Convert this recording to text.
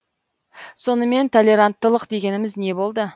сонымен толеранттылық дегеніміз не болды